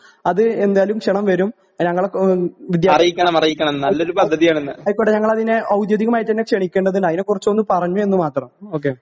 അത് എന്താലും ക്ഷണം വരും ഏഹ് ഞങ്ങളൊക്കെ വിദ്യാ ആയിക്കോട്ടെ ഞങ്ങളതിനെ ഔദ്യോഗികമായിട്ടന്നെ ക്ഷണിക്കേണ്ടതിനയിനെക്കുറിച്ചൊന്നു പറഞ്ഞൂന്നു മാത്രം ഓക്കേ.